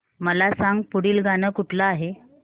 मला सांग पुढील गाणं कुठलं आहे